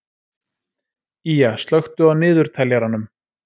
Ýja, slökktu á niðurteljaranum.